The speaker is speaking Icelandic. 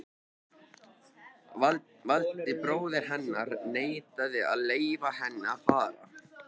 Valdi, bróðir hennar, neitaði að leyfa henni að fara.